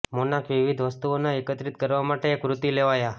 monarch વિવિધ વસ્તુઓનો એકત્રિત કરવા માટે એક વૃત્તિ લેવાયા